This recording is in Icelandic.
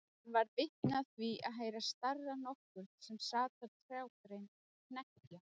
Hann varð vitni af því að heyra starra nokkurn sem sat á trjágrein hneggja.